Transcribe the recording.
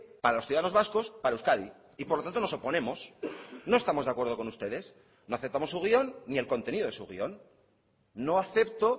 para los ciudadanos vascos para euskadi y por lo tanto nos oponemos no estamos de acuerdo con ustedes no aceptamos su guion ni el contenido de su guion no acepto